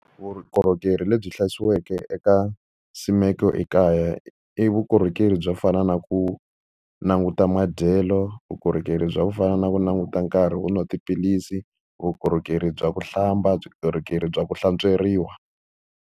Vukorhokeri lebyi eka nsimeko ekaya, i vukorhokeri byo fana na ku languta madyelo, vukorhokeri bya ku fana na ku languta nkarhi wo nwa tiphilisi, vukorhokeri bya ku hlamba, vukorhokeri bya ku hlantsweriwa.